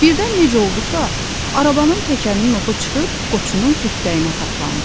Birdən necə oldusa, arabanın təkərinin oxu çıxıb Qoçunun xırtdəyinə saplandı.